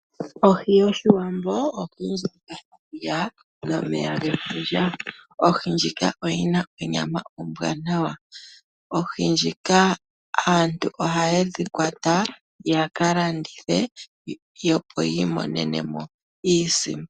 Ohi yoshiwambo, ohi ndjika yaza momeya gefundja . Ohi ndjika oyina onyama ombwaanawa. Oohi ndhika aantu ohaye dhi kwata yaka landithe yo yi imonene iisimpo.